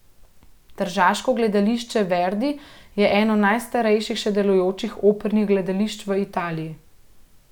Tržaško gledališče Verdi je eno najstarejših še delujočih opernih gledališč v Italiji.